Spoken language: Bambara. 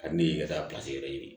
Ka ne ye ka taa pilasi yɛrɛ ɲini